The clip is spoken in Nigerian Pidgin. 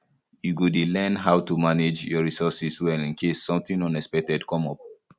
you go dey learn how to dey manage your resources well in case something unexpected come up